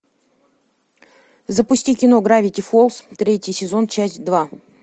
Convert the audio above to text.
запусти кино гравити фолз третий сезон часть два